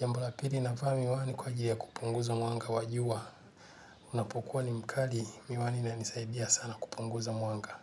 Jambo la pili navaa miwani kwa ajiri ya kupunguza mwanga wajua. Unapokuwa ni mkali miwani inanisaidia sana kupunguza mwanga.